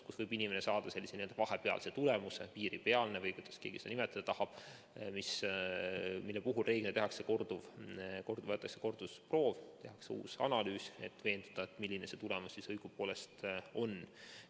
Siis võib inimene saada sellise n‑ö vahepealse, piiripealse tulemuse või kuidas keegi seda nimetada tahab, mille puhul reeglina võetakse kordusproov, tehakse uus analüüs, et veenduda, milline see tulemus siis õigupoolest on.